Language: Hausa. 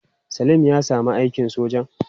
Salim ya sami aikin sojan?